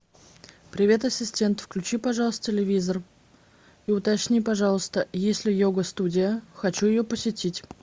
привет ассистент включи пожалуйста телевизор и уточни пожалуйста есть ли йога студия хочу ее посетить